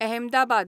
Ahmedabad